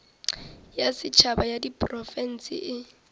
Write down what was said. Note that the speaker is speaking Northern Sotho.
ya setšhaba ya diprofense e